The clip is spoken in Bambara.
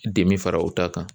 Dimi fara u ta kan.